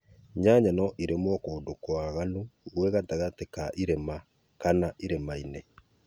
Nyanya no irĩmwo kũndũ kwaraganu gwĩ gatagatĩ wa irĩma kana ĩrĩma-inĩ